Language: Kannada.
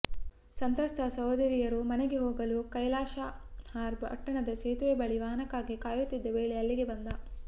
ಸಂತ್ರಸ್ತ ಸಹೋದರಿಯರು ಮನೆಗೆ ಹೋಗಲು ಕೈಲಾಶಹಾರ್ ಪಟ್ಟಣದ ಸೇತುವೆ ಬಳಿ ವಾಹನಕ್ಕಾಗಿ ಕಾಯುತ್ತಿದ್ದ ವೇಳೆ ಅಲ್ಲಿಗೆ ಬಂದ